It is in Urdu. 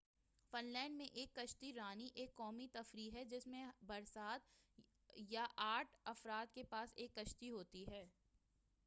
فن لینڈ میں کشتی رانی ایک قومی تفریح ​​ہے، جس میں ہر سات یا آٹھ افراد کے پاس ایک کشتی ہوتی ہے۔